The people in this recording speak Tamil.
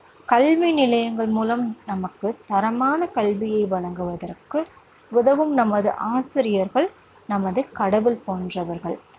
கல்வி நிலையங்கள் மூலம் நமக்குத் தரமான கல்வியை வழங்குவதற்கு உதவும் நமது ஆசிரியர்கள் நமது கடவுள் போன்றவர்கள்.